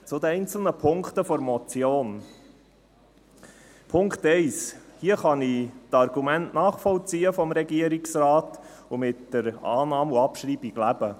Zu den einzelnen Punkten der Motion: Punkt 1: Hier kann ich die Argumente des Regierungsrates nachvollziehen und mit der Annahme und Abschreibung leben.